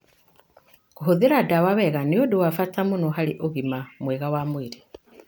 Kũhũthira ndawa wega nĩ ũndũ wa bata mũno harĩ ũgima mwega wa mwĩrĩ.